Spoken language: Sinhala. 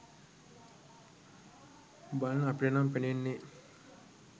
බලන අපිට නම් පෙනෙන්නේ